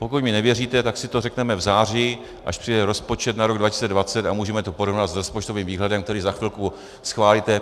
Pokud mi nevěříte, tak si to řekneme v září, až přijde rozpočet na rok 2020, a můžeme to porovnat s rozpočtovým výhledem, který za chvilku schválíte.